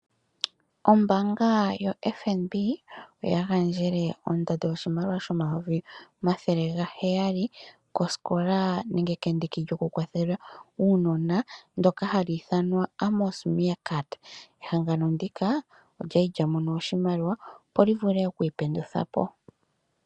Ombaanga yoFNB oya gandjele ondando yoshimaliwa shomayovi omathele ga hayali kosikola nenge kendiki lyokukwathela uunona ndoka hali ithanwa Amos Meerkat ehangano ndika olya li lya mona oshimaliwa opo li vule ikwiipendula po.